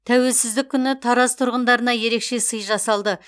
тәуелсіздік күні тараз тұрғындарына ерекше сый жасалды